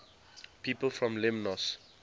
people from lemnos